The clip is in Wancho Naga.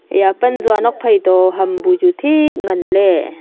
eya pan tsua tuakphai toh hambu chu thik ngan ley.